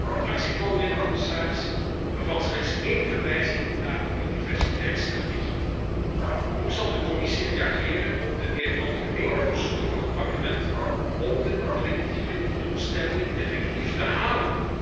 Het actieplan bevat slechts één verwijzing naar de biodiversiteitsstrategie. Hoe zal de Commissie reageren op de meer algemene verzoeken van het Parlement om de 2020 doelstellingen effectief te halen?